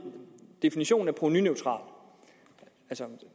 definitionen af provenuneutral